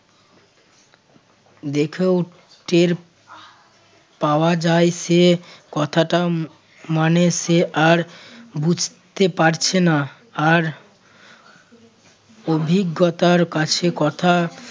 দেখেও টের পাওয়া যায় সে কথাটা মানে সে আর বুঝতে পারছে না আর অভিজ্ঞতার কাছে কথা